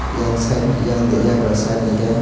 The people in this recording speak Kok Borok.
yang side yang de yagra side hingke.